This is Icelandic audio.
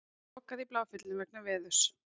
Lokað í Bláfjöllum vegna veðurs